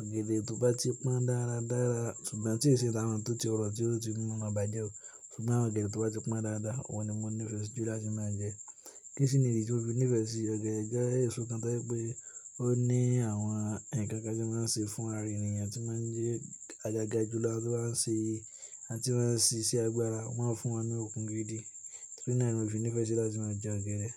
Ọ̀gẹ̀dẹ̀ tó bá ti pọ́n dára dára, ṣùgbọ́n tíì ṣe tàwọn tó ti rọ̀ tí ó ti moma bàjẹ́ o, ṣùgbọ́n ọ̀gẹ̀dẹ̀ tó bá ti pọ́n dáadáa, òun ni mo nífẹ̀ẹ́ si jù láti máa jẹ. Kí si ni idi tí mo fi nífẹ̀ẹ́ sí ọ̀gẹ̀dẹ̀ jẹ́, èso kan to jẹ pé ó ní àwọn ǹkan kan tí o máa ń ṣe fún ara ènìyàn tí máa ń jẹ́ agaga jùlọ, awọn máa ń ṣe, àti máa ń ṣe iṣẹ́ agbára, o máa ń fún wọn ní okun gidi. Torí náà ni mo fi nífẹ̀ẹ́ sí láti máa jẹ ọ̀gẹ̀dẹ̀.